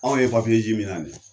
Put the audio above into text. Anw ye ze min na ni ye